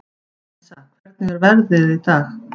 Æsa, hvernig er veðrið í dag?